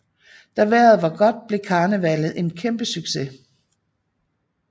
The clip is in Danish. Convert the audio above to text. Da vejret var godt blev karnevallet en kæmpe succes